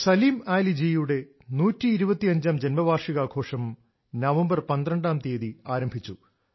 സലിം അലി ജിയുടെ 1250 ജന്മവാർഷികാഘോഷം നവംബർ 12 മുതൽ ആരംഭിച്ചു